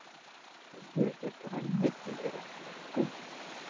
Veistu ekki að grænmeti er ekki velkomið?